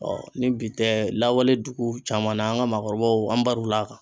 ni bi tɛ lawale dugu caman na, an ka maakɔrɔbaw an baro la kan